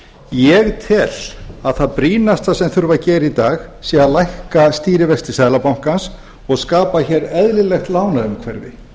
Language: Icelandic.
ég tel að það brýnasta sem þurfi að gera í dag sé að lækka stýrivexti seðlabankans og skapa hér eðlilegt lánaumhverfi